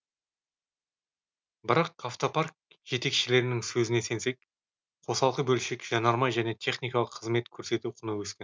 бірақ автопарк жетекшілерінің сөзіне сенсек қосалқы бөлшек жанармай және техникалық қызмет көрсету құны өскен